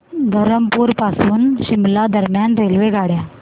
धरमपुर पासून शिमला दरम्यान रेल्वेगाड्या